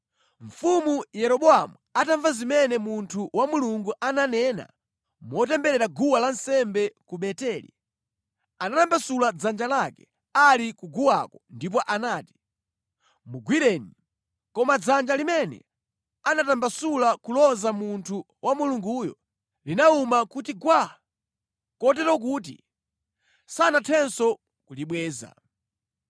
Mfumu Yeroboamu atamva zimene munthu wa Mulungu ananena motemberera guwa lansembe ku Beteli, anatambasula dzanja lake ali ku guwako ndipo anati, “Mugwireni!” Koma dzanja limene anatambasula kuloza munthu wa Mulunguyo linawuma kuti gwaa, kotero kuti sanathenso kulibweza.